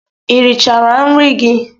Ị richala nri gị?